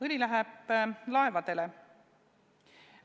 Õli läheb laevadele.